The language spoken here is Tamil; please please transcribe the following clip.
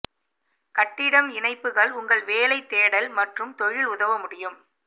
கட்டிடம் இணைப்புகள் உங்கள் வேலை தேடல் மற்றும் தொழில் உதவ முடியும்